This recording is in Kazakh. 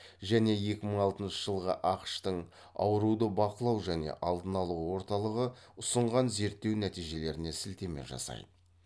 және екі мың алтыншы жылғы ақш тың ауруды бақылау және алдын алу орталығы ұсынған зерттеу нәтижелеріне сілтеме жасайды